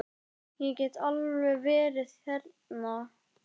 Ég get alveg verið þerna.